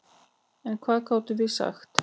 En hvað gátum við sagt?